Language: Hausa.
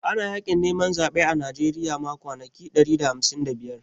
Ana Yaƙin neman zaɓe a Najeriya ma kwanaki ɗari da hamsin da biyar